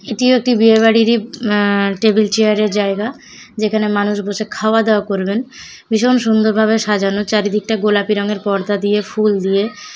এটি ও একটি বিয়ে বাড়িরই অ্যা টেবিল চেয়ারের জায়গা যেখানে মানুষ বসে খাওয়া দাওয়া করবেন ভীষণ সুন্দরভাবে সাজানো চারিদিকটা গোলাপি রঙের পর্দা দিয়ে ফুল দিয়ে ।